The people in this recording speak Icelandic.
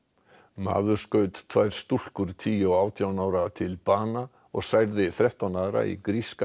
maður skaut tvær stúlkur tíu og átján ára til bana og særði þrettán aðra í gríska